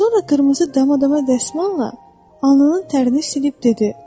Sonra qırmızı dama-dama dəsmalla alnının tərini silib dedi: